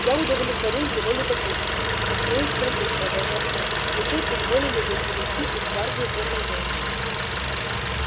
я удовлетворил его любопытству а смею спросить продолжал он зачем изволили вы перейти из гвардии в гарнизон